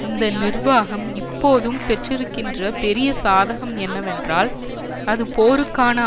இந்த நிர்வாகம் இப்போதும் பெற்றிருக்கின்ற பெரிய சாதகம் என்னவென்றால் அது போருக்கான